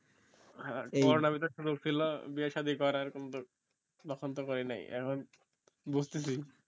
coronar এর ভেতর সুযোগ দিল বিয়ে সাধি করার কিন্তু পসন্দ করি নাই এখন বুঝতেসি